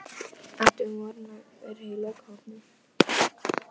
Brynhildur Hólm: Á hvern hátt geta heilbrigðisyfirvöld brugðist við?